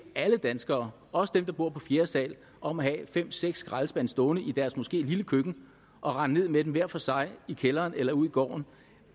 alle danskere også dem der bor på fjerde sal om at have fem seks skraldespande stående i deres måske lille køkken og rende ned med dem hver for sig i kælderen eller ud i gården